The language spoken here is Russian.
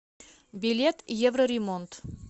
билет евроремонт